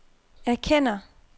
erkender